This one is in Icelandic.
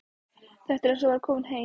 Þetta er eins og að vera kominn heim.